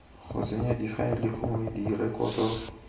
go senya difaele gongwe direkoto